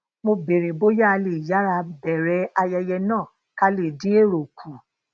mo béèrè bóyá a lè yara beere ayẹyẹ náà ká lè din ero ku